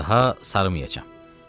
Daha saramayacam.